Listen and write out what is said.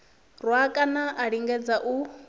rwa kana a lingedza u